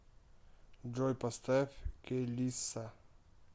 джой поставь келисса